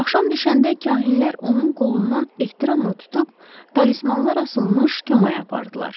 Axşam düşəndə kahinlər onun qolundan ehtiramla tutub talismanlar asılmış kəmaya apardılar.